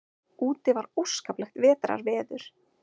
Úti var óskaplegt vetrarveður.